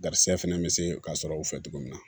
Garisigɛ fɛnɛ be se ka sɔrɔ u fɛ togo min na